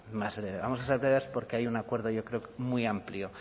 breve vamos a ser breves porque hay un acuerdo yo creo que muy amplio